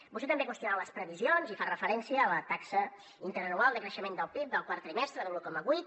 vostè també qüestiona les previsions i fa referència a la taxa interanual de creixement del pib del quart trimestre de l’un coma vuit